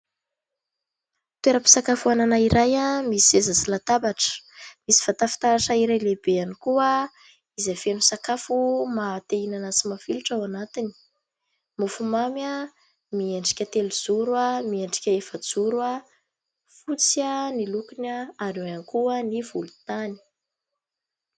Toeram-pisakafoanana iray misy seza sy latabatra ; misy vata fitaratra iray lehibe ihany koa izay feno sakafo maha te hihinana sy mafilotra ao anatiny : mofo mamy a, miendrika telojoro a, miendrika efajoro a, fotsy a, ny lokony a ary eo ihany koa ny volontany.